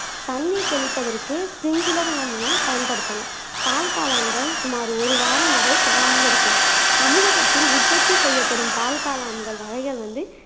தண்ணீர் தெளிப்பதற்கு பின்புலர் நம்ம பயன்படுத்தனும் பால் காளான்கள் சுமார் ஒரு வாரம் வரை கெடாமல் இருக்கும் தமிழகத்தில் உற்பத்தி செய்யப்படும் பால் காளான்கள் வகைகள் வந்து